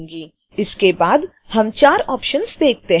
इसके बाद हम चार ऑप्शन्स देखते हैं